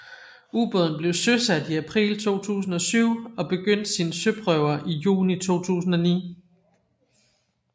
Ubåden blev søsat i april 2007 og begyndte sine søprøver i juni 2009